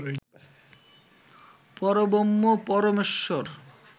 পরব্রহ্ম পরমেশ্বর